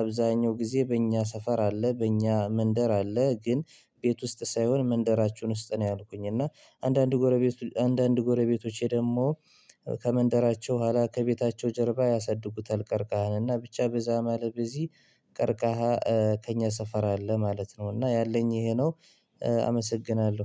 አብዛኛው ጊዜ በእኛ ሰፈር አለ በእኛ መንደር አለ ግን። ቤት ውስጥ ሳይሆን መንደራችን ውስጥ ነው። ያልኩኝ እና አንዳንድ ጎረቤት አንዳንድ ጎረቤቶቼ ደግሞ ከመንደራቸው በኋላ ከቤታቸው ጀርባ ያሳድጉታል። ቀርከሃን እና ብቻ በዛ ማለብ በዚህ። ቀርከሃ ከእኛ ሰፈር አለ ማለት ነው እና ያለኝ ይሄ ነው። አመሰግናለሁ